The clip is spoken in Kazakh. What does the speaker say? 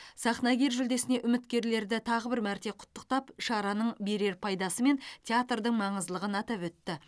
сахнагер жүлдесіне үміткерлерді тағы бір мәрте құттықтап шараның берер пайдасы мен театрдың маңыздылығын атап өтті